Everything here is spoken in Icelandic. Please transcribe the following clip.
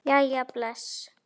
Jæja bless